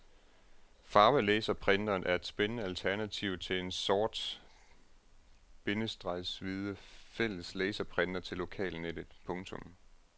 Farvelaserprinteren er et spændende alternativ til den sort- bindestreg hvide fælles laserprinter til lokalnettet. punktum